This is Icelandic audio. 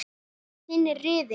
Hvernig er þinn riðill?